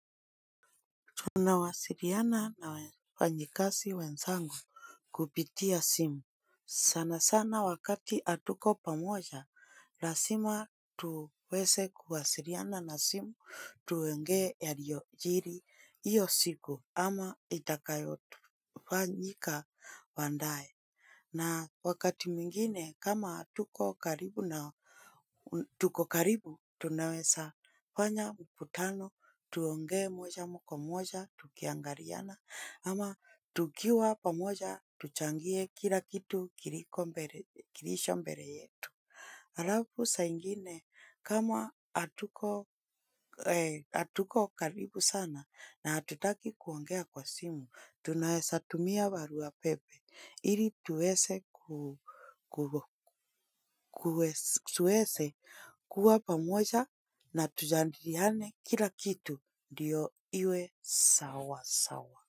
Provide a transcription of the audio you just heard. Ninawasiliana na wafanyakazi wenzangu kupitia simu. Sana sana wakati hatuko pamoja. Lazima tuweze kuwasiliana na simu, tuongee yaliyojiri hiyo siku, ama itakayo tufanyika wa ndae na wakati mingine kama atuko karibu na tuko karibu, tunaweza fanya mkutano, tuongee moja kwa moja, tukiangaliana, ama tukiwa pamoja, tuchangie kila kitu kiliko mbele, kilisho mbele yetu. Harafu saa ingine kama hatuko karibu sana na hatutaki kuongea kwa simu, tunaweza tumia barua pepe. Ili tuweze kuwa pamoja na tujadiliane kila kitu. Ndiyo iwe sawa sawa.